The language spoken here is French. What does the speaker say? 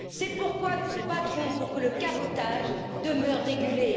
C'est pourquoi nous nous battrons pour que le cabotage demeure régulé.